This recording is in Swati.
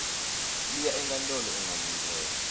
liya enkantolo ungalindzela